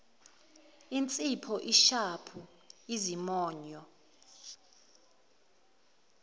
insipho ishampu izimonyo